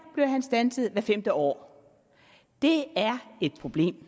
blev han standset hvert femte år det er et problem